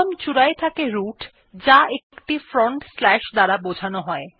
একদম চূড়ায় থাকে রুট যা একটি ফ্রন্টস্ল্যাশ এর দ্বারা বোঝানো হয়